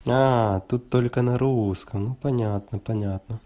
тут только на русском ну понятно понятно